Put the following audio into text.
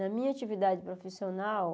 Na minha atividade profissional...